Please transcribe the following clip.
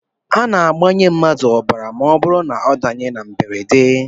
A na-agbanye mmadụ ọbara ma ọ bụrụ na ọ danye na mberede